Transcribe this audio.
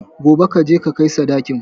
Gobe kaje ka kai sadakin